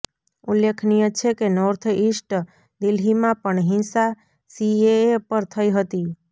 ઉલ્લેખનીય છે કે નોર્થ ઈસ્ટ દિલ્હીમાં પણ હિંસા સીએએ પર થઈ હતી